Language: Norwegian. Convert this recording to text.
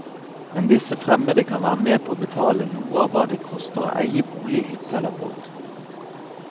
Men disse fremmede kan være med på å betale noe av hva det koster å eie bolig, hytte eller båt.